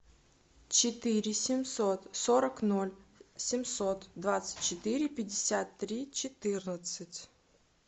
четыре семьсот сорок ноль семьсот двадцать четыре пятьдесят три четырнадцать